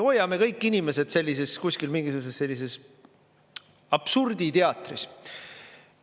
Hoiame kõik inimesed sellises kuskil mingisuguses absurditeatris.